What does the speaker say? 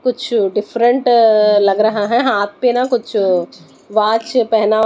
कुछ डिफरेंट लग रहा है हाथ पे ना कुछ वाच पहना--